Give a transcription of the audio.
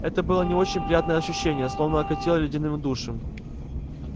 это было не очень приятное ощущение словно окатило ледяным душем